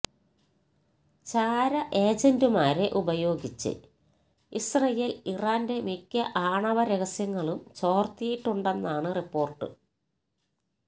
ചാര ഏജന്റുമാരെ ഉപയോഗിച്ച് ഇസ്രയേൽ ഇറാന്റെ മിക്ക ആണവ രഹസ്യങ്ങളും ചോർത്തിയിട്ടുണ്ടെന്നാണ് റിപ്പോർട്ട്